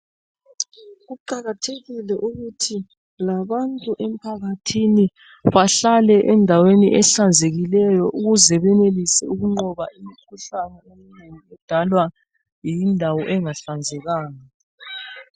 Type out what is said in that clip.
Kuqakathekile ukuthi labantu emphakathini bahlale endaweni ehlanzekileyo ukuze benelise ukunqoba imikhuhlane edalwa yindawo engahlanzekanga.